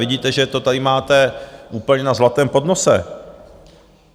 Vidíte, že to tady máte úplně na zlatém podnose.